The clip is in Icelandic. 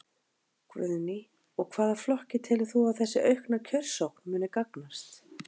Guðný: Og hvaða flokki telur þú að þessi aukna kjörsókn muni gagnast?